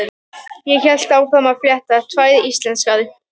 Ég hélt áfram að fletta: Tvær íslenskar.